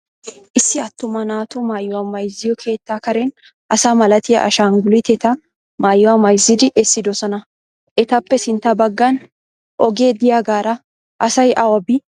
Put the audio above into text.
Issi attuma naatu maayuwa bayizziyo keettaa Karen asa malatiya ashanguliteta maayuwa mayizzidi essidosona. Etappe sintta baggan ogee diyagaara asay awa bii?